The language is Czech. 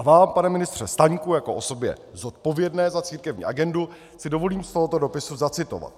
A vám, pane ministře Staňku, jako osobě zodpovědné za církevní agendu, si dovolím z tohoto dopisu zacitovat: